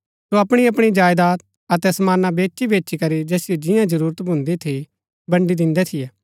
सो अपणी अपणी जायदात अतै समाना बेचीबेचीकरी जैसिओ जिंआं जरूरत भून्दी थी बण्ड़ी दिन्दै थियै